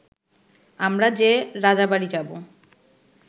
আমরা যে রাজাবাড়ি যাব